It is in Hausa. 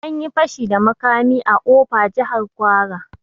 Anyi fashi da makami a ofa, Jahar kwara